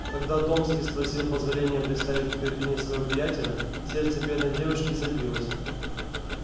когда томский спросил позволения представить графине своего приятеля сердце бедной девушки забилось